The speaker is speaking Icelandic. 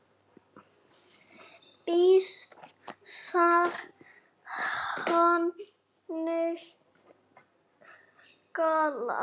Býsn þar haninn galar.